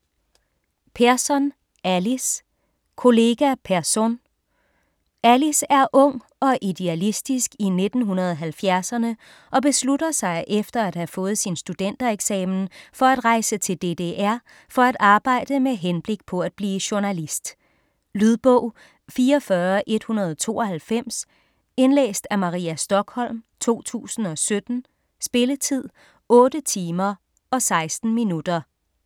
Persson, Alice: Kollega Persson Alice er ung og idealistisk i 1970'erne og beslutter sig efter at have fået sin studentereksamen for at rejse til DDR, for at arbejde med henblik på at blive journalist. Lydbog 44192 Indlæst af Maria Stokholm, 2017. Spilletid: 8 timer, 16 minutter.